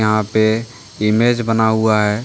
यहां पे इमेज बना हुआ है ।